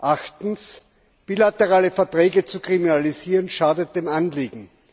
Achtens Bilaterale Verträge zu kriminalisieren schadet dem Anliegen.